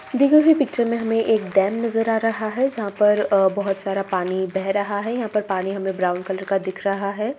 दी गई हुई पिच्चर मे हमें एक डैम नज़र आ रहा है जहाँ पर अ बोहोत सारा पानी बह रहा है यहाँ पर पानी हमें ब्राउन कलर का दिख रहा है।